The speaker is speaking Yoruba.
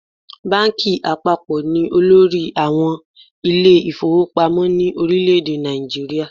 Báńkì àpapọ̀ ni olórí àwọn ilé ìfowópamọ́ ní orílẹ̀ èdè Nàìjíríà.